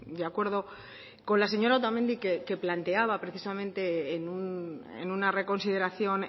de acuerdo con la señora otamendi que planteaba precisamente en una reconsideración